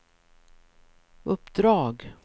uppdrag